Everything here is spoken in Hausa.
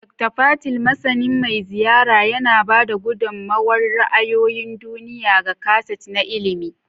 Dokta Patel, masani mai ziyara, yana ba da gudummawar ra'ayoyin duniya ga kaset na ilimi.